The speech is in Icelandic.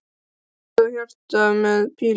Og mynd af hjarta með pílu í.